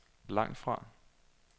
langtfra